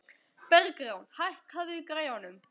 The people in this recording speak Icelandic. Bergrán, hækkaðu í græjunum.